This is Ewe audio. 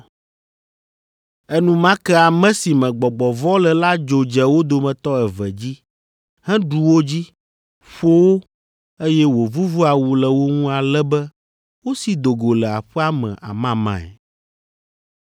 Enumake ame si me gbɔgbɔ vɔ̃ le la dzo dze wo dometɔ eve dzi, heɖu wo dzi, ƒo wo, eye wòvuvu awu le wo ŋu ale be wosi do go le aƒea me amamae.